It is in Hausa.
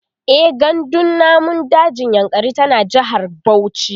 e gandun namun dajin yankari tana jehar Bauchi